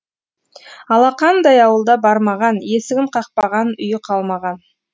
алақандай ауылда бармаған есігін қақпаған үйі қалмаған